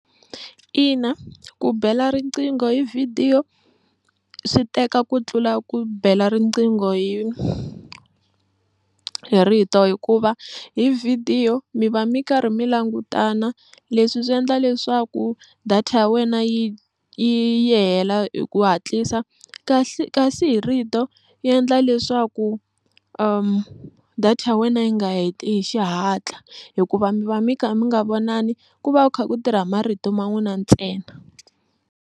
Ina ku bela riqingho hi vhidiyo swi teka ku tlula ku bela riqingho hi rito hikuva hi vhidiyo mi va mi karhi mi langutana leswi swi endla leswaku data ya wena yi yi hela hi ku hatlisa kasi kasi hi rito yi endla leswaku data ya wena yi nga hi xihatla hikuva mi va mi kha mi nga vonani ku va ku kha ku tirha marito ma n'wina ntsena.